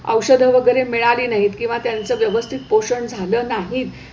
औषधं वगैरे मिळाली नाहीत किंवा त्यांचं व्यवस्थित पोषण झालं नाही,